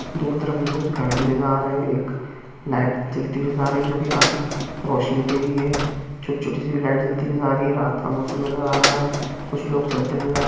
दो तरफ़ मुझे कुछ घर भी नजर आ रहे हैं एक लाइट(light ) जलती हुई नजर आ रही है जो की काफी रौशनी देरी है छोटी छोटी सी लाइट भी नजर आ रही है रात का मौसम नजर आ रहा है कुछ लोग चलते हुए नजर